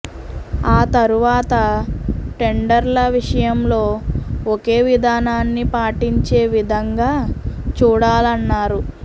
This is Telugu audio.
ఆ తరువాత టెండర్ల విషయంలో ఒకే విధానాన్ని పాటించే విధంగా చూడాలన్నారు